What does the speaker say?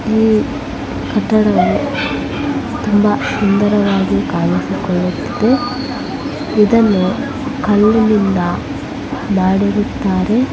ಈ ಕಟ್ಟಡವನ್ನು ತುಂಬಾ ಸುಂದರವಾಗಿ ಕಾಣಿಸಿಕೊಳ್ಳುತ್ತಿದೆ. ಇದನ್ನು ಕಲ್ಲುಗಳಿಂದ ಮಾಡಿರುತ್ತಾರೆ.